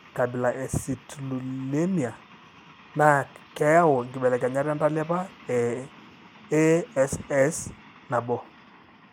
Ore enkabila e I eCitrullinemia naa keyau inkibelekenyat entalipa eASS1.